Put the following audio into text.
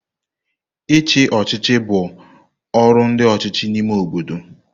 Ichi ochịchị bụ ọrụ ndi ọchịchị n'ime obodo.